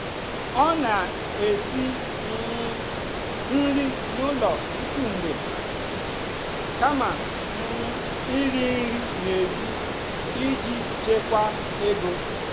ọ́ nà-èsì um nrì n'ụ́lọ̀ ọ́tụtụ́ mgbe kàmà um ìrì nrì n'èzì ìjì chèkwáà égó.